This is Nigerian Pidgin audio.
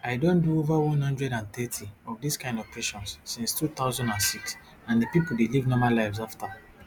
i don do over one hundred and thirty of dis kain operations since two thousand and six and di pipo dey live normal lives after